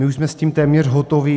My už jsme s tím téměř hotovi.